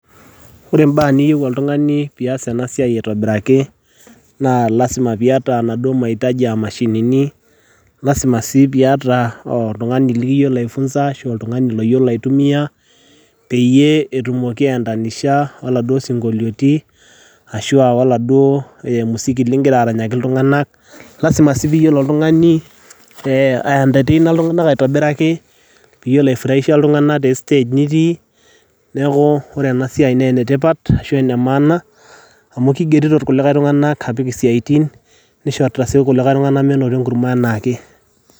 Ore imbaa niyieu oltung'ani, pias enasiai aitobiraki, naa lasima piata enaduo mahitaji ah mashinini, lasima si piata oltung'ani liyiolo ai funza ashu oltung'ani loyiolo aitumia, peyie etumoki aiendanisha oladuo sinkolioiti, ashua oladuo musiki ligira aranyaki iltung'anak. Lasima si piyiolo oltung'ani aientateina iltung'anak aitobiraki, piyiolo ai furahisha iltung'anak te stage nitii, neeku ore enasiai na enetipat, ashu enemaana, amu kigerito kulikae tung'anak apik isiaitin, nisho si kulikae tung'anak menoto enkurma enaake.